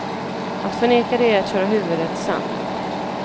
Att förneka det är att köra huvudet i sanden.